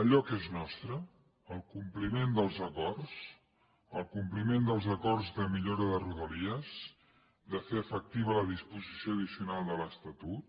allò que és nostre el compliment dels acords el compliment dels acords de millora de rodalies de fer efectiva la disposició addicional de l’estatut